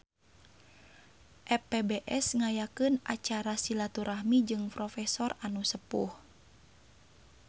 FPBS ngayakeun acara silaturahmi jeung profesor anu sepuh